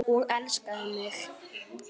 Og elskaði mig.